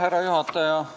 Härra juhataja!